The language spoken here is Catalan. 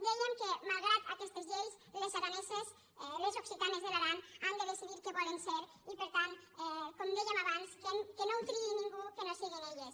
dèiem que malgrat aquestes lleis les araneses les oc·citanes de l’aran han de decidir què volen fer i per tant com dèiem abans que no ho triï ningú que no si·guin elles